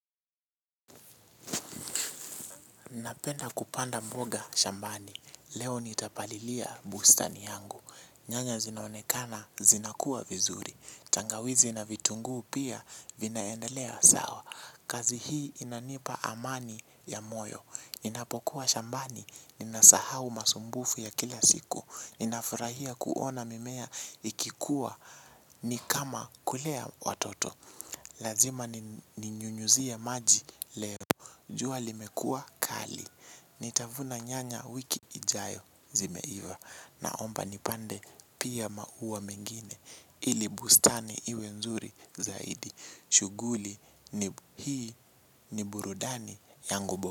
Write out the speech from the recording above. Napenda kupanda mboga shambani, leo nitapalilia bustani yangu, nyanya zinaonekana zinakua vizuri, tangawizi na vitunguu pia vinaendelea sawa, kazi hii inanipa amani ya moyo, ninapokuwa shambani, ninasahau masumbufu ya kila siku, ninafurahia kuona mimea ikikua ni kama kulea watoto. Lazima ninyunyuzie maji leo. Jua limekua kali. Nitavuna nyanya wiki ijayo, zimeiva. Naomba nipande pia maua mengine ili bustani iwe nzuri zaidi. Shughuli hii ni burudani yangu.